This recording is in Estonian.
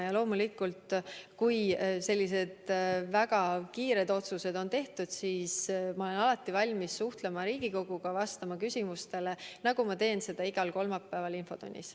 Ja loomulikult siis, kui sellised väga kiired otsused on tehtud, olen ma alati valmis Riigikoguga suhtlema ja vastama küsimustele, nagu ma teen seda igal kolmapäeval infotunnis.